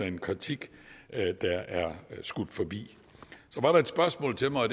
en kritik der er skudt forbi så var der et spørgsmål til mig